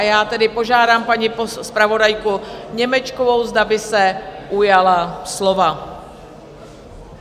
A já tedy požádám paní zpravodajku Němečkovou, zda by se ujala slova.